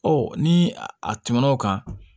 ni a tɛmɛn'o kan